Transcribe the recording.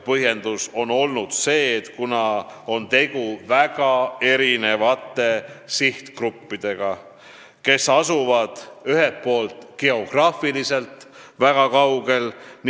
Põhjendus oli, et tegu on väga erinevate sihtgruppidega, kes lisaks asuvad geograafiliselt teineteisest väga kaugel.